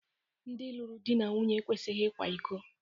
Ndị lụrụ di na nwunye ekwesịghị ịkwa iko